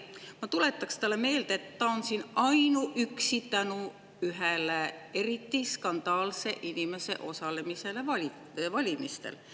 Ma tuletan talle meelde, et ta on siin ainuüksi tänu ühe eriti skandaalse inimese osalemisele valimistel.